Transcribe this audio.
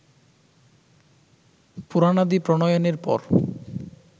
পুরাণাদি প্রণয়নের পর